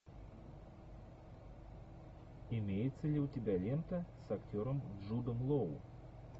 имеется ли у тебя лента с актером джудом лоу